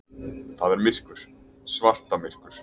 Það er myrkur, svartamyrkur.